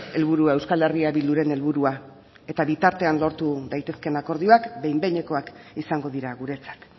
helburua euskal herria bilduren helburua eta bitartean lortu daitezkeen akordioak behin behinekoak izango dira guretzat